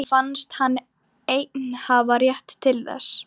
Honum fannst hann einn hafa rétt til þess.